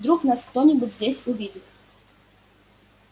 вдруг нас кто-нибудь здесь увидит